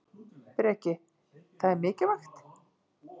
Breki: Það er mikilvægt?